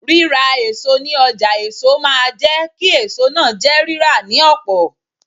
Ríra èso ní ọjà èso máa jẹ́ kí èso náà jẹ́ rírà ní ọ̀pọ̀.